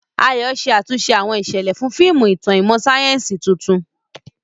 Ayo ṣe àtúnṣe àwọn ìṣẹ̀lẹ̀ fún fíìmù ìtàn ìmọ̀ sáyẹ́sì tuntun.